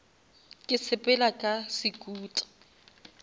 ke sepela ka sekuta